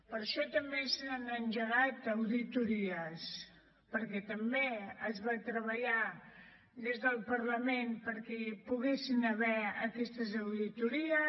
per això també s’han engegat auditories perquè també es va treballar des del parlament perquè hi poguessin haver aquestes auditories